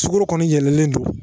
Suku kɔni yɛlɛlen don